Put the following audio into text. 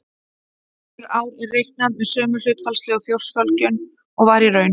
Önnur ár er reiknað með sömu hlutfallslegu fólksfjölgun og var í raun.